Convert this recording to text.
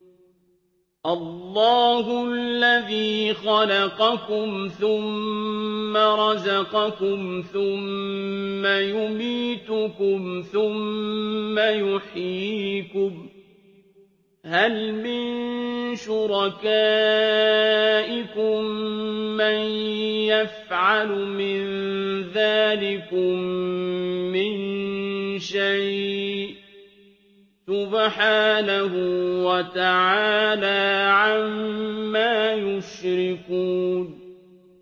اللَّهُ الَّذِي خَلَقَكُمْ ثُمَّ رَزَقَكُمْ ثُمَّ يُمِيتُكُمْ ثُمَّ يُحْيِيكُمْ ۖ هَلْ مِن شُرَكَائِكُم مَّن يَفْعَلُ مِن ذَٰلِكُم مِّن شَيْءٍ ۚ سُبْحَانَهُ وَتَعَالَىٰ عَمَّا يُشْرِكُونَ